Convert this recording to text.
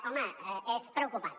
home és preocupant